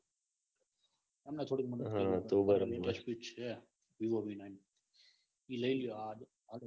એમને Vivo V nine એ લઇ લ્યો.